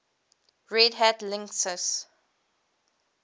red hat linux